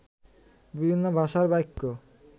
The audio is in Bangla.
বিভিন্ন ভাষার বাক্য